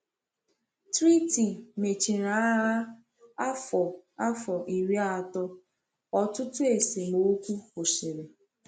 Treaty mechiri Agha Afọ Afọ Iri atọ, ọtụtụ esemokwu kwụsịrị.